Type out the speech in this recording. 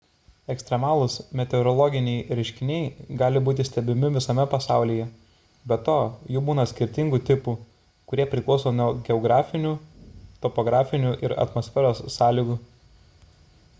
ekstremalūs meteorologiniai reiškiniai gali būti stebimi visame pasaulyje be to jų būna skirtingų tipų kurie priklauso nuo geografinių topografinių ir atmosferos sąlygų